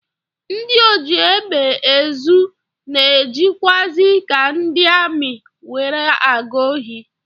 Ndị ojiegbeezu na-ejikwazi ka ndị amị were aga ohi